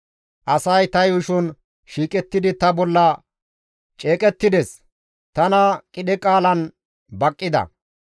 Asay ta yuushon shiiqettidi ta bolla ceeqettides; tana qidhe qaalan baqqida.